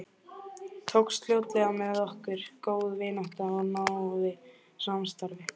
Tókst fljótlega með okkur góð vinátta og náið samstarf.